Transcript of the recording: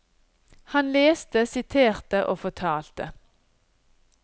Han leste, siterte og fortalte.